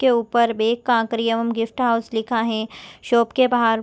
के ऊपर bake crockery एवं गिफ्ट हॉउस लिखा है शॉप के बाहर --